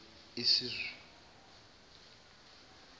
iszulu